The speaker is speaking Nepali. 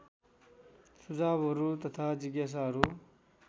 सुझावहरू तथा जिज्ञासाहरू